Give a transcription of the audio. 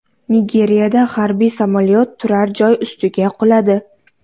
Nigeriyada harbiy samolyot turar-joy ustiga quladi.